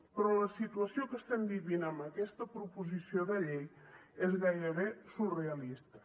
però la situació que estem vivint amb aquesta proposició de llei és gairebé surrealista